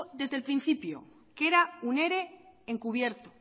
desde el principio que era un ere encubierto